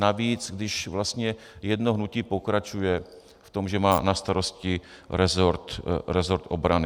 Navíc když vlastně jedno hnutí pokračuje v tom, že má na starosti resort obrany.